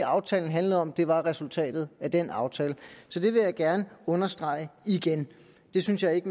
aftalen handler om det er resultatet af den aftale så det vil jeg gerne understrege igen det synes jeg ikke